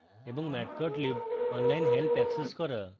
এবং matplotlib online help access করা